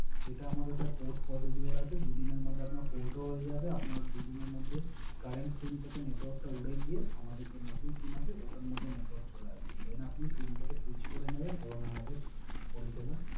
এটা আমাদের স্যার Port Positiver আছে দুই দিনের মধ্যে আপনার Port ও হয়ে যাবে দুই দিনের মধ্যে আপনার Current SIM থেকে Network টা উড়ে গিয়ে আমাদের যে নতুন SIM আছে ওটার মধ্যে নেটওয়ার্ক চলে আসবে Then আপনি সুইং টাকে Swice করে নিবেন এবং আমাদের পরিসেবা